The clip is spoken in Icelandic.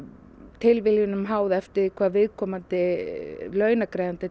tilviljunum háð eftir því hvað viðkomandi launagreiðandi